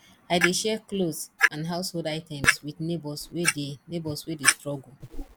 i dey share clothes and household items with neighbors wey dey neighbors wey dey struggle